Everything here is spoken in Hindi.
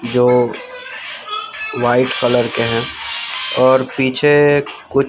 जो वाइट कलर के हैं और पीछे कु--